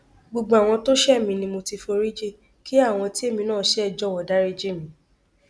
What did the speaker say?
gbogbo àwọn tó ṣẹ mí ni mo ti foríjì kí àwọn tí èmi náà ṣe jọwọ dariji mi